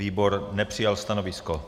Výbor nepřijal stanovisko.